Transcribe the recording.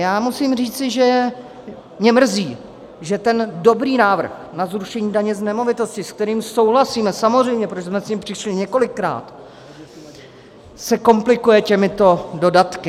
Já musím říci, že mě mrzí, že ten dobrý návrh na zrušení daně z nemovitosti, se kterým souhlasíme - samozřejmě, protože jsme s ním přišli několikrát - se komplikuje těmito dodatky.